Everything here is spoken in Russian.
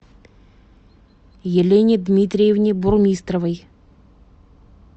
елене дмитриевне бурмистровой